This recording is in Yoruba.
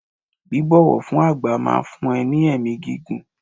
Bíbọ̀wọ̀ fún àgbà máa fún ẹ ní ẹ̀mí gígùn.